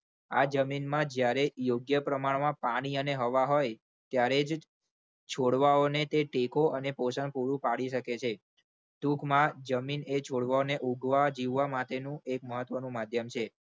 હા જમીનમાં જ્યારે યોગ્ય પ્રમાણમાં પાણી અને હવા હોય ત્યારે છોડવાઓને તે શીખો અને પોષણ પૂરું પાડી શકે છે. ટૂંકમાં જમીન એ છોડવાઓને ઉગવા જીવવા માટે નું એક મહત્વનું માધ્યમ છે.